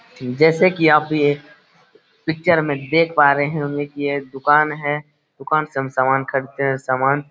जैसे कि आप भी ये पिक्चर में देख पा रहें होंगे की ये दुकान है। दुकान से हम समान खरीदते हैं। सामान --